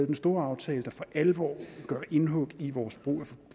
den store aftale der for alvor gør indhug i vores brug af